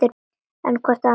Eru hvor annarri allt.